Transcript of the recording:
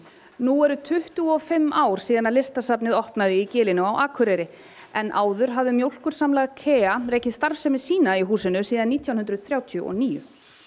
nú eru tuttugu og fimm ár síðan Listasafnið opnaði í gilinu á Akureyri en áður hafði mjólkursamlag KEA verið starfsemi sína í húsinu síðan nítján hundruð þrjátíu og níu